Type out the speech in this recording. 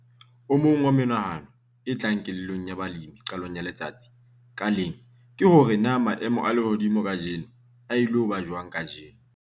O mong wa menahano e tlang kelellong ya balemi qalong ya letsatsi ka leng ke hore na maemo a lehodimo kajeno a ilo ba jwang kajeno.